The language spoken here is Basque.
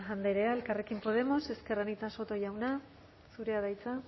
andrea elkarrekin podemos ezker anitza soto jauna zurea da hitza